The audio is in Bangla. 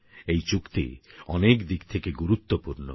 এই চুক্তি অনেক দিক থেকে গুরুত্বপুর্ণ